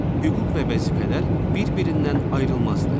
Hüquq və vəzifələr bir-birindən ayrılmazdır.